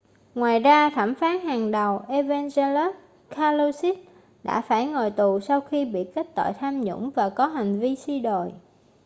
ngoài ra thẩm phán hàng đầu evangelos kalousis đã phải ngồi tù sau khi bị kết tội tham nhũng và có hành vi suy đồi